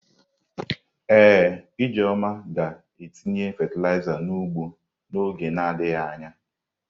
Ee, Ijeoma ga-etinye fatịlaịza n’ugbo n'oge na adịghị anya.